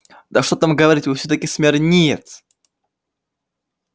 да что там говорить вы всё-таки смирниец